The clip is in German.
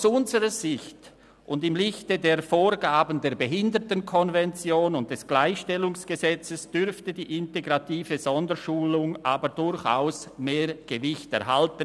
Aus unserer Sicht und im Lichte der Vorgaben der Behindertenkonvention und des Gleichstellungsgesetzes dürfte die integrative Sonderschulung in Zukunft aber durchaus mehr Gewicht erhalten.